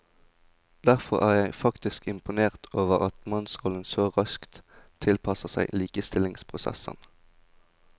Derfor er jeg faktisk imponert over at mannsrollen så raskt tilpasser seg likestillingsprosessen.